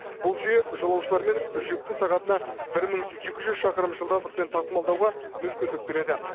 бұл жүйе жолаушылар мен жүкті сағатына бір мың екі жүз шақырым жылдамдықпен тасымалдауға мүмкіндік береді